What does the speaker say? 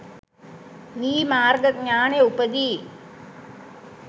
වී මාර්ග ඥානය උපදී.